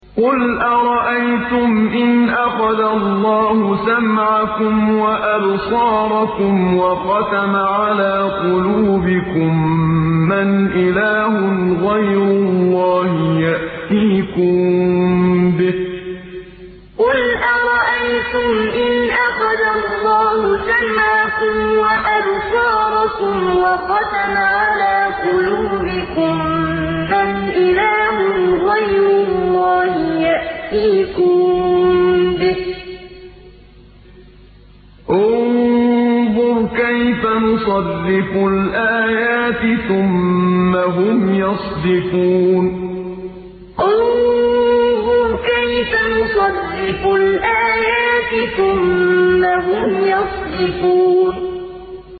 قُلْ أَرَأَيْتُمْ إِنْ أَخَذَ اللَّهُ سَمْعَكُمْ وَأَبْصَارَكُمْ وَخَتَمَ عَلَىٰ قُلُوبِكُم مَّنْ إِلَٰهٌ غَيْرُ اللَّهِ يَأْتِيكُم بِهِ ۗ انظُرْ كَيْفَ نُصَرِّفُ الْآيَاتِ ثُمَّ هُمْ يَصْدِفُونَ قُلْ أَرَأَيْتُمْ إِنْ أَخَذَ اللَّهُ سَمْعَكُمْ وَأَبْصَارَكُمْ وَخَتَمَ عَلَىٰ قُلُوبِكُم مَّنْ إِلَٰهٌ غَيْرُ اللَّهِ يَأْتِيكُم بِهِ ۗ انظُرْ كَيْفَ نُصَرِّفُ الْآيَاتِ ثُمَّ هُمْ يَصْدِفُونَ